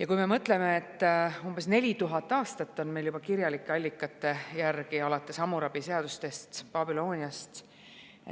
Ja kui me mõtleme, siis juba umbes 4000 aastat on meil kirjalike allikate järgi, alates Hammurapi seadustest Babüloonias,